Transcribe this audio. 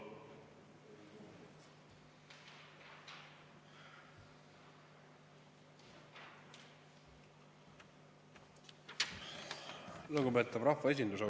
Lugupeetav rahvaesindus!